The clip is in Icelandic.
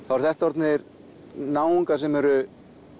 þá eru þetta orðnir náungar sem eru